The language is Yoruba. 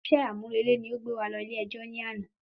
Isé àmúrẹlẹ́ ni o gbé wa lọ ilé ẹjọ́ ni àná